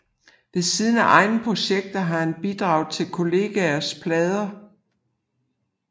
Ved siden af egne projekter har han bidraget til kollegers plader